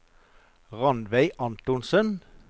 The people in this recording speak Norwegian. Ranveig Antonsen